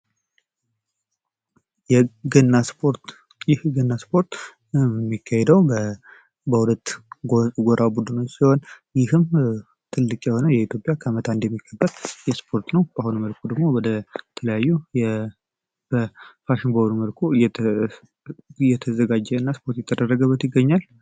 የገና ስፖርት ይህ ገና ስፖርት የሚካሄደው በሁለት ጎራ ቡድኖች ሲሆን ትልቅ የሆነ በኢትዮጵያ በዓመት አንድ የሚከበር ስፖርት ነው በአሁኑ መልኩ ደግሞ የተለያዩ ፋሽን በሆነ መልኩ እየተዘጋጀ እና ስፖርት እየተደረገ ይገኛል።